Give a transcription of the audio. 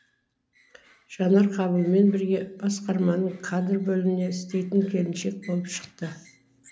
жанар қабылмен бірге басқарманың кадр бөлімінде істейтін келіншек болып шықты